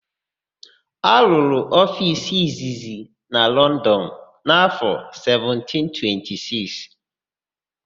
A rụrụ ofiisi izizi na Lọndọn n'áfọ̀ 1726.